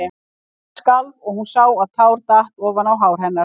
Og hann skalf og hún sá að tár datt ofan á hár hennar.